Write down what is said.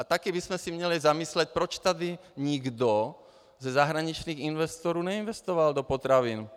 A taky bychom se měli zamyslet, proč tady nikdo ze zahraničních investorů neinvestoval do potravin.